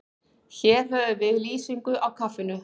Hér höfum við lýsingu á kaffinu.